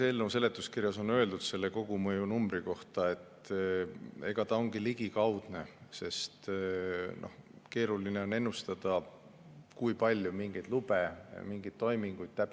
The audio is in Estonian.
Nagu eelnõu seletuskirjas on öeldud, selle kogumõju ongi ligikaudne, sest keeruline on ennustada, kui palju täpselt mingeid lube taotletakse või mingeid toiminguid tehakse.